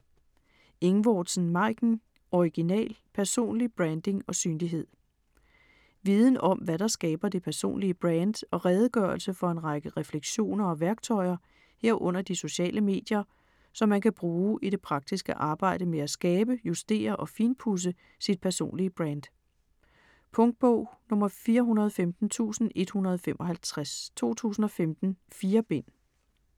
Ingvordsen, Maiken: Original: personlig branding & synlighed Viden om, hvad der skaber det personlige brand og redegørelse for en række refleksioner og værktøjer, herunder de sociale medier, som man kan bruge i det praktiske arbejde med at skabe, justere og finpudse sit personlige brand. Punktbog 415155 2015. 4 bind.